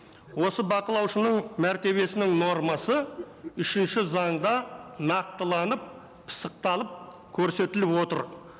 осы бақылаушының мәртебесінің нормасы үшінші заңда нақтыланып пысықталып көрсетіліп отыр